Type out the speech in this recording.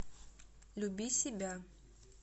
люби себя